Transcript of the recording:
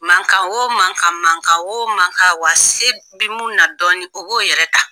Mankan o man , mankan o mankan , wa se bi mun na dɔɔnin o b'o yɛrɛ ta.